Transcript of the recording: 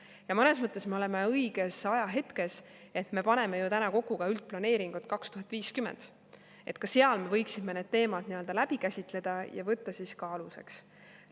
Ja mõnes mõttes me oleme õiges ajahetkes, sest me paneme ju praegu kokku ka üldplaneeringut 2050, ka seal me võiksime need teemad läbi käsitleda ja võtta aluseks.